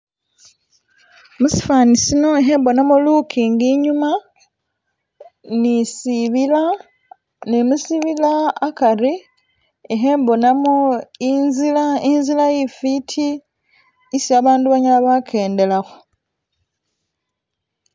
Musifani muno ikhembonamo lukingi inyuma ni sibila ne musibila akari ikhembonamo inzila, inzila ifiti isi abandu banyala bakendelakho